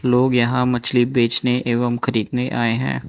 लोग यहां मछली बेचने एवं खरीदने आए हैं।